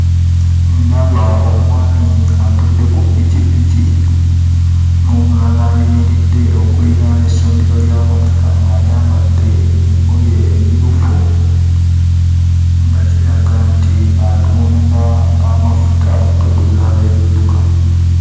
Ndaba omwami atudde ku pikipiki n'omulala ayimiridde okuliraana essundiro ly'amafuta ng'ayambadde engoye emmyufu, nga kiraga nti atunda amafuta okugaguza abeebidduka.